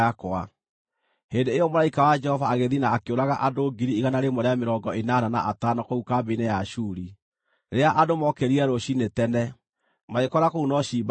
Hĩndĩ ĩyo mũraika wa Jehova agĩthiĩ na akĩũraga andũ ngiri igana rĩmwe rĩa mĩrongo ĩnana na atano kũu kambĩ-inĩ ya Ashuri. Rĩrĩa andũ mookĩrire rũciinĩ tene, magĩkora kũu no ciimba theri!